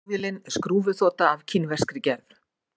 Flugvélin er skrúfuþota af kínverskri gerð